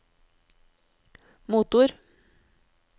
motor